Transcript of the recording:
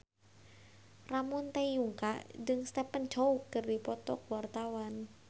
Ramon T. Yungka jeung Stephen Chow keur dipoto ku wartawan